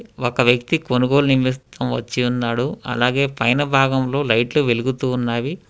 ఒక వ్యక్తి కొనుగోలు వచ్చి ఉన్నాడు అలాగే పైన భాగంలో లైట్లు వెలుగుతూ ఉన్నవి.